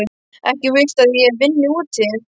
Ekki viltu að ég vinni úti.